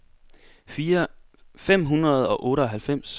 fem hundrede og otteoghalvfems